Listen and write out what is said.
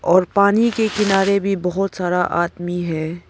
और पानी के किनारे भी बहुत सारा आदमी है।